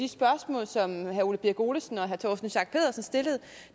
de spørgsmål som herre ole birk olesen og herre torsten schack pedersen stillede